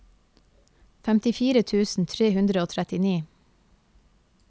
femtifire tusen tre hundre og trettini